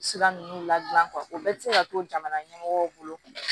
Sira ninnu ladilan o bɛɛ bɛ se ka to jamana ɲɛmɔgɔw bolo